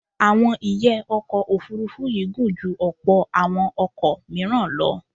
Àwọn ìyẹ́ ọkọ̀ Òfurufú yìí gùn ju ọ̀pọ̀ àwọn ọkọ̀ míràn lọ.